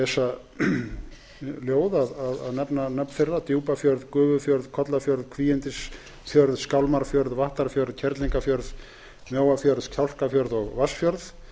að lesa ljóð að nefna nöfn þeirra djúpafjörð gufufjörð kollafjörð kvígindisfjörð skálmarfjörð vattarfjörð kerlingarfjörð mjóafjörð kjálkafjörð og vatnsfjörð